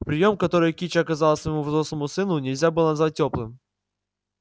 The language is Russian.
приём который кичи оказала своему взрослому сыну нельзя было назвать тёплым